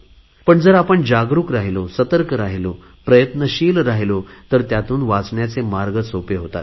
पण जर आपण जागरुक राहिलो सतर्क राहिलो प्रयत्नशील राहिलो तर त्यातून वाचण्याचे मार्ग सोपे होतात